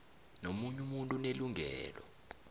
nomunye umuntu unelungelo